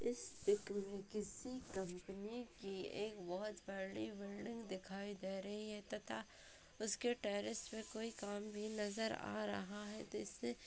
इस पिक मे किसी कंपनी की एक बहुत बड़ी बिल्डिंग दिखाई दे रही है तथा उसके टैरिस में कोई काम भी नजर आ रहा है --